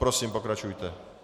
Prosím, pokračujte.